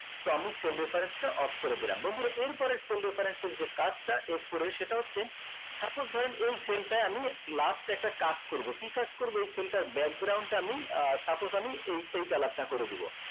তো আমি cell difference টা off করে দিলাম বন্ধুরা এর পরের cell difference এর যে কাজটা f four সেটা হচ্ছে suppose ধরেন এই cell টাই আমি last একটা কাজ করবো কি কাজ করবো এই cell টার টা আমি আহ suppose আমি এই এই colour টা করে দিবো